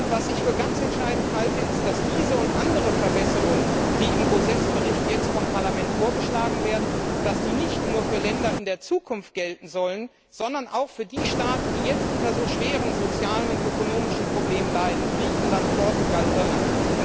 Was ich für ganz entscheidend halte, ist, dass diese und andere Verbesserungen, die im Gauzès Bericht vom Parlament vorgeschlagen werden, nicht nur für Länder in der Zukunft gelten sollen, sondern auch für die Staaten, die jetzt unter so schweren sozialen und ökonomischen Problemen leiden Griechenland, Portugal, Irland.